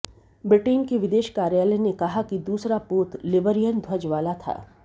Britain के विदेश कार्यालय ने कहा कि दूसरा पोत लिबरियन ध्वज वाला था